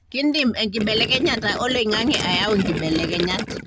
kindim enkibelekenyata oloingange ayau nkibelekenyat.